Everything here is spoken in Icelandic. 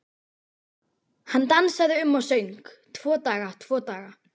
Hann dansaði um og söng: Tvo daga, tvo daga